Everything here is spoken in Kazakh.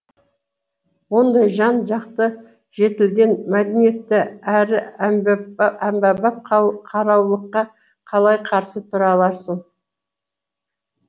ондай жан жақты жетілген мәдениетті әрі әмбебап қараулыққа қалай қарсы тұра аларсың